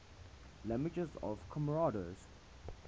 languages of comoros